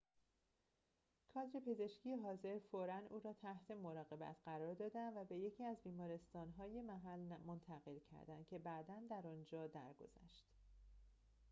کادر پزشکی حاضر فوراً او را تحت مراقبت قرار دادند و به یکی از بیمارستان‌های محل منتقل کردند که بعداً در آنجا درگذشت